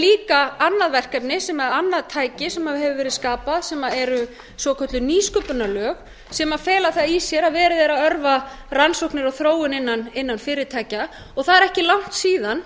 líka annað verkefni sem er annað tæki sem hefur verið skapað sem eru svokölluð nýsköpunarlög sem fela það í sér að verið er að örva rannsóknir og þróun innan fyrirtækja og það er ekki langt síðan